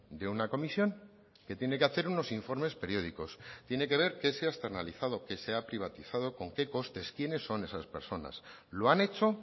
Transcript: de una comisión que tiene que hacer unos informes periódicos tiene que ver qué se ha externalizado qué se ha privatizado con qué costes quiénes son esas personas lo han hecho